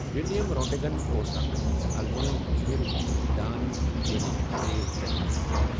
Wilhelm Roentgen اوس اَکھ آلمانی مٲہِر علم دان یِم اؠکسرے دٔریافتہ کۆر۔